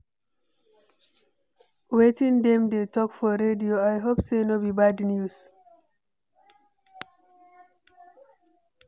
Wetin dem dey talk for radio? I hope sey no be bad news.